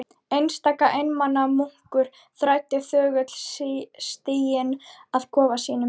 Einstaka einmana munkur þræddi þögull stíginn að kofa sínum.